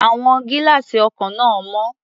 Àwọn gílá́àsì ọkọ̀ náà mọ́.